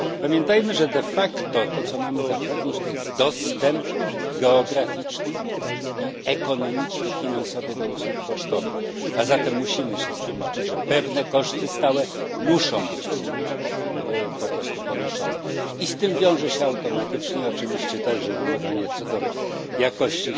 Pamiętajmy, że de facto to, co mamy zapewnić, to jest dostęp geograficzny, ekonomiczny i finansowy do usług pocztowych. A zatem musimy się z tym liczyć, że pewne koszty stałe muszą być ponoszone. I z tym wiąże się automatycznie oczywiście także wymagania, co do jakości.